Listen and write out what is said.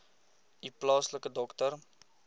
u plaaslike dokter